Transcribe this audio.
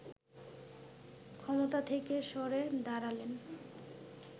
ক্ষমতা থেকে সরে দাঁড়ালেন